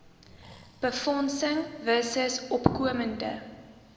befondsing versus opkomende